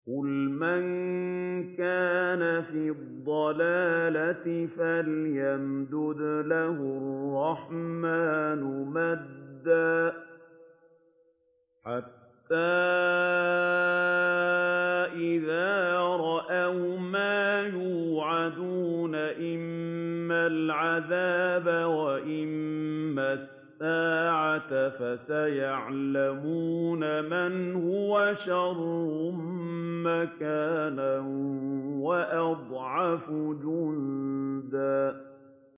قُلْ مَن كَانَ فِي الضَّلَالَةِ فَلْيَمْدُدْ لَهُ الرَّحْمَٰنُ مَدًّا ۚ حَتَّىٰ إِذَا رَأَوْا مَا يُوعَدُونَ إِمَّا الْعَذَابَ وَإِمَّا السَّاعَةَ فَسَيَعْلَمُونَ مَنْ هُوَ شَرٌّ مَّكَانًا وَأَضْعَفُ جُندًا